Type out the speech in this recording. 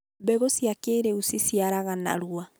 mbegũ cia kĩĩrĩu ciciaraga narua